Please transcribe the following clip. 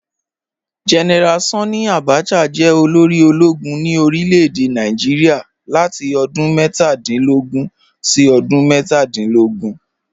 General Sanni Abacha jẹ́ olórí ọlọ́gùn ní orílẹ̀-èdè Nàìjíríà látì odún mẹ́tàdìnlógún sí odún mẹ́tàdìnlógún